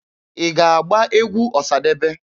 Ị ga-agba egwu Ọsadebe?